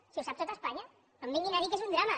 si ho sap tot espanya no em vinguin a dir que és un drama